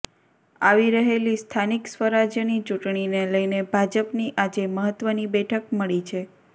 આવી રહેલી સ્થાનિક સ્વરાજ્યની ચૂંટણીને લઇને ભાજપની આજે મહત્વની બેઠક મળી છે